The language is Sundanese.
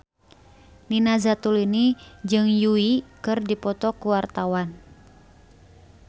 Nina Zatulini jeung Yui keur dipoto ku wartawan